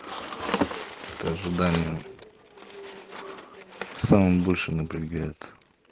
ожидание самым больше напрягает